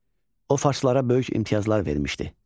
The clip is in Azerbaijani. O farslara böyük imtiyazlar vermişdi.